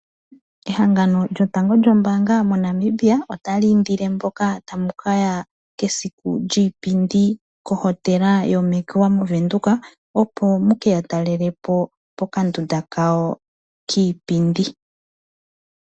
Ehangano lyotango lyombaanga moNamibia, ota li indindile mboka tamu ka ya kesiku lyiipindi kohotela yo Mercure moWindhoek, opo muke ya talele po, pokandunda kawo kiipindi.